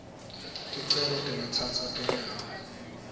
ticelo tingatsatsa tinyanga